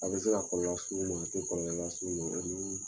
A bɛ se ka kɔlɔlɔ las'u ma a tɛ kɔlɔlɔ las'u ma